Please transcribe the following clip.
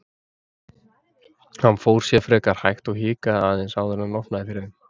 Hann fór sér frekar hægt og hikaði aðeins áður en hann opnaði fyrir þeim.